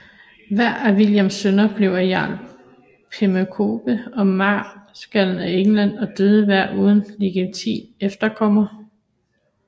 Hver af Williams sønner blev jarl af Pembroke og marskal af England og døde hver uden legitim efterkommer